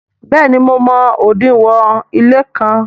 béèni mo mọ odinwo ile kán.